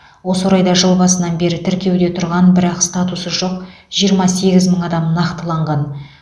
осы орайда жыл басынан бері тіркеуде тұрған бірақ статусы жоқ жиырма сегіз мың адам нақтыланған